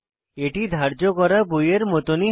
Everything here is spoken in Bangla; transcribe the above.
এটি ধার্য করা বইয়ের মতনই হবে